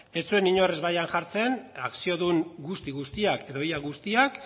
ez zuen inork ezbaian jartzen akziodun guzti guztiak edo ia guztiak